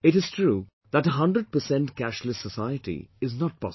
It is true that a hundred percent cashless society is not possible